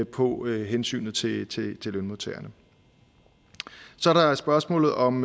på hensynet til til lønmodtagerne så er der spørgsmålet om